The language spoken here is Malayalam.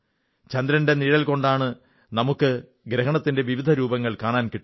ചന്ദ്രന്റെ നിഴൽ കൊണ്ടാണ് നമുക്ക് ഗ്രഹണത്തിന്റെ വിവിധ രൂപങ്ങൾ കാണാൻ കിട്ടുന്നത്